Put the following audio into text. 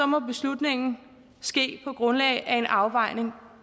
må beslutningen ske på grundlag af en afvejning